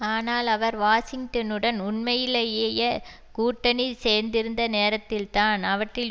ஆனால் அவர் வாஷிங்டனுடன் உண்மையிலேயேயே கூட்டணி சேந்திருந்த நேரத்தில்தான் அவற்றில்